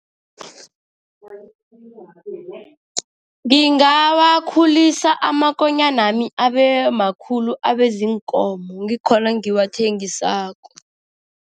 Ngingawakhulisa, amakonyanami abemakhulu, abeziinkomo, ngikhona ngiwathengisako.